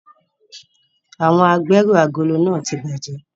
Awọn agberu agolo nàa ti bajẹ